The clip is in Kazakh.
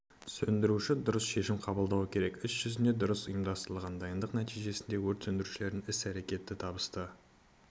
сөндіруші дұрыс шешім қабылдауы керек іс жүзінде дұрыс ұйымдастырылған дайындық нәтижесінде өрт сөндірушілердің іс-әректтері табысты